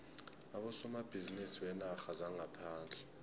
abosomabhizinisi beenarha zangaphandle